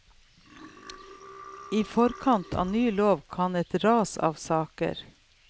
I forkant av ny lov kom et ras av saker.